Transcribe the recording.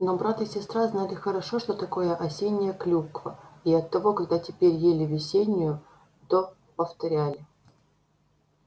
но брат и сестра знали хорошо что такое осенняя клюква и оттого когда теперь ели весеннюю то повторяли